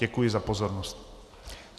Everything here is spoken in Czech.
Děkuji za pozornost.